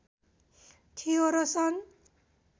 थियो र सन्